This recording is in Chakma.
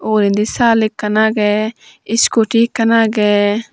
urendi saal ekkan agye scooty ekkan agye.